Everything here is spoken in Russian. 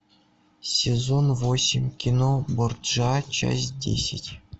сезон восемь кино борджиа часть десять